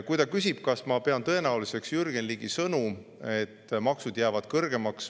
Ta küsis, kas ma pean tõenäoliseks, et maksud jäävad kõrgemaks, nagu Jürgen Ligi.